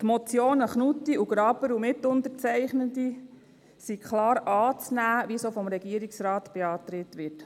Die Motionen Knutti und Graber und Mitunterzeichnende sind klar anzunehmen, wie es auch vom Regierungsrat beantragt wird.